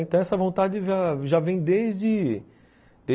Então, essa vontade já, já vem desde.